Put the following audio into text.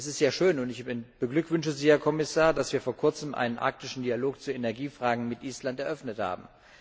Es ist ja schön, und ich beglückwünsche Sie, Herr Kommissar, dass wir vor kurzem einen Arktischen Dialog zu Energiefragen mit Island eröffnet haben.